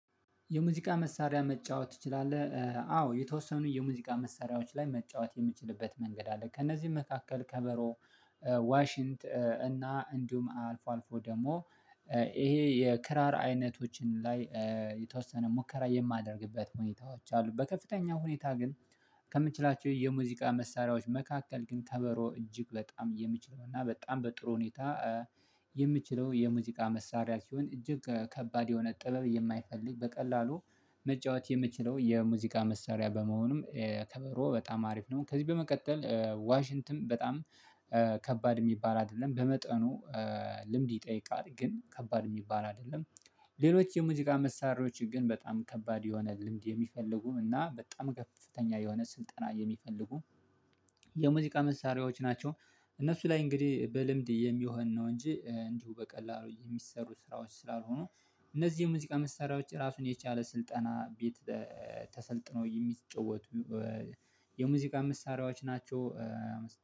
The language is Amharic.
የሙዚቃ መሳሪያ መጫወት ትችላለህ አዎ የተወሰኑ የሙዚቃ መሳሪያዎች ላይ መጫወት የምችልበት መንገድ አለ። ከእነዚህ መካከል ከበሮ ዋሽንት እና እንዲሁም አልፎ አልፎ ደግሞ። ይሄ የክራር አይነቶችን ላይ የተወሰነ ሙከራ የማደርግበት ሁኔታዎች አሉ። በከፍተኛ ሁኔታ ግን ከምችላቸው የሙዚቃ መሳሪያዎች መካከል ግን ከበሮ እጅግ በጣም የምችለው እና በጣም በጥሩ ሁኔታ። የምችለው የሙዚቃ መሳሪያ ሲሆን እጅግ ከባድ የሆነ ጥበብ የማይፈልግ በቀላሉ መጫወት የምችለው የሙዚቃ መሳሪያ በመሆኑም ከበሮ በጣም አሪፍ ነው። ከዚህ በመቀጠል ዋሽንትም በጣም ከባድ የሚባል አይደለም በመጠኑ ልምድ ይጠይቃል ግን ከባድ የሚባል አይደለም። ሌሎች የሙዚቃ መሳሪያዎች ግን በጣም ከባድ የሆነ ልምድ የሚፈልጉ እና በጣም ከፍተኛ የሆነ ስልጠና የሚፈልጉ የሙዚቃ መሳሪያዎች ናቸው። እነሱ ላይ እንግዲህ በልምድ የሚሆን ነው እንጂ እንዲሁ በቀላሉ የሚሰሩ ስራዎች ስላልሆኑ እነዚህ የሙዚቃ መሳሪያዎች ራሱን የቻለ ስልጠና ቤት ተሰልጥኖ የሚጫወቱ የሙዚቃ መሳሪያዎች ናቸው